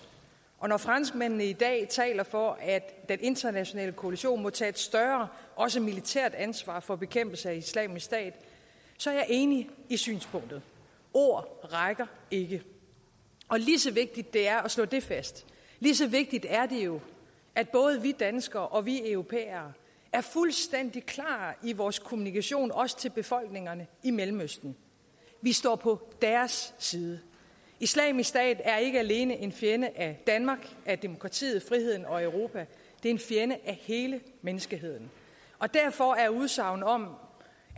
og når franskmændene i dag taler for at den internationale koalition må tage et større også militært ansvar for bekæmpelse af islamisk stat så er jeg enig i synspunktet ord rækker ikke lige så vigtigt det er at slå det fast lige så vigtigt er det jo at både vi danskere og vi europæere er fuldstændig klare i vores kommunikation også til befolkningerne i mellemøsten vi står på deres side islamisk stat er ikke alene en fjende af danmark af demokratiet af friheden og af europa det er en fjende af hele menneskeheden derfor er udsagnet om